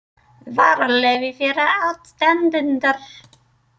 Dvalarleyfi fyrir aðstandendur.